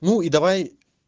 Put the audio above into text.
ну и давай